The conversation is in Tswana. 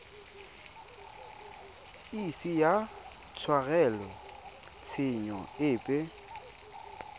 ise a tshwarelwe tshenyo epe